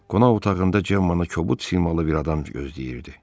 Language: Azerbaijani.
Qonaq otağında Cemmanı kobud simalı bir adam gözləyirdi.